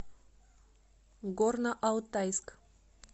горно алтайск